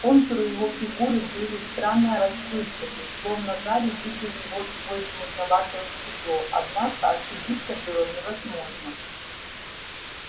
контуры его фигуры были странно расплывчаты словно гарри видел его сквозь мутноватое стекло однако ошибиться было невозможно